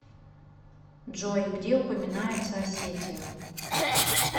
джой где упоминается осетия